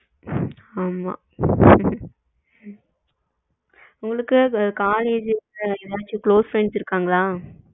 ஆமா உங்களுக்கு college ல ஏதாவது close friends இருக்காங்களா?